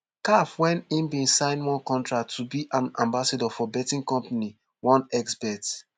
caf wen im bin sign one contract to be an ambassador for betting company onexbet